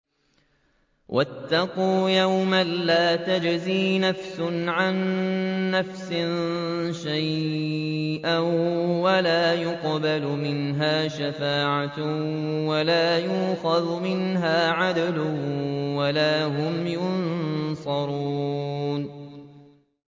وَاتَّقُوا يَوْمًا لَّا تَجْزِي نَفْسٌ عَن نَّفْسٍ شَيْئًا وَلَا يُقْبَلُ مِنْهَا شَفَاعَةٌ وَلَا يُؤْخَذُ مِنْهَا عَدْلٌ وَلَا هُمْ يُنصَرُونَ